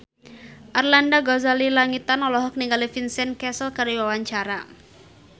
Arlanda Ghazali Langitan olohok ningali Vincent Cassel keur diwawancara